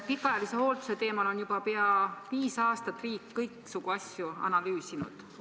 Pikaajalise hoolduse teemal on riik juba peaaegu viis aastat kõiksugu asju analüüsinud.